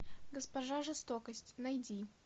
госпожа жестокость найди